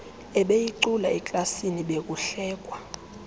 ebeyicula eklasini bekuhlekwa